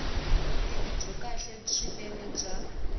vutivi byo kahle swinene bya